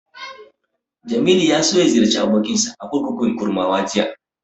Jamilu ya so ya ziyarci abokinsa a kurkukun Kurmawa jiya.